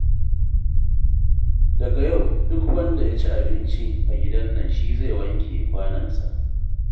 Daga yau duk wanda ya ci abinci a gidan nan shi zai wanke kwanonsa